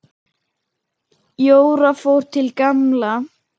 Jóra fór til Gamla.